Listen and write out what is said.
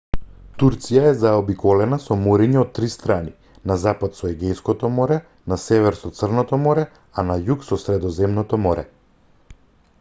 турција е заобиколена со мориња од три страни на запад со егејското море на север со црното море а на југ со средоземното море